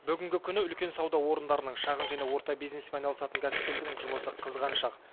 бүгінгі күні үлкен сауда орындарының шағын және орта бизнеспен айналысатын кәсіпкерлердің жұмысы қызған шақ